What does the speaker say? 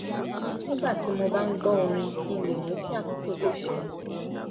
nígbà tí mo bá ń gbọ́ orin kí n lè mú kí àkókò tètè lọ